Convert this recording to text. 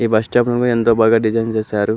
ఈ bus stand ను ఏంట బాగా డిజైన్ చేసారు.